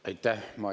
Aitäh!